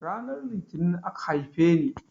Ranar litini aka haifeni